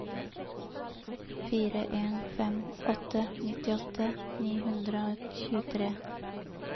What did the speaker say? fire en fem åtte nittiåtte ni hundre og tjuetre